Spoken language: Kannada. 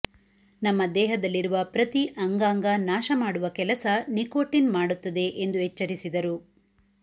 ನಮ್ಮ ದೇಹದಲ್ಲಿರುವ ಪ್ರತಿ ಅಂಗಾಂಗ ನಾಶ ಮಾಡುವ ಕೆಲಸ ನಿಕೋಟಿನ್ ಮಾಡುತ್ತದೆ ಎಂದು ಎಚ್ಚರಿಸಿದರು